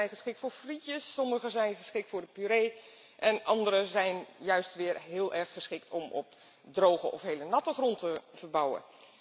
Sommige zijn geschikt voor frietjes, sommige zijn geschikt voor de puree en andere zijn juist weer heel erg geschikt om op droge of heel natte grond te verbouwen.